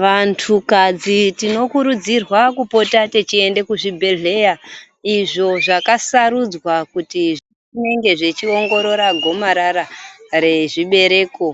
Vantukadzi tinokurudzira kupota tichienda kuzvibhehlera izvo zvakasarudzwa kuti zvinge zvichiongorora gomarara rechibereko